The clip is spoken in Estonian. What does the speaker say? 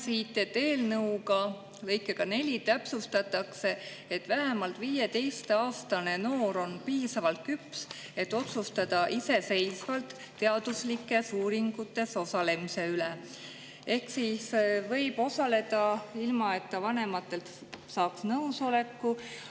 Loen siit: "Eelnõuga täpsustatakse, et vähemalt 15‑aastane noor on piisavalt küps, et otsustada iseseisvalt teaduslikes uuringutes osalemise üle " Ehk siis ta võib osaleda ilma, et ta saaks vanematelt nõusoleku.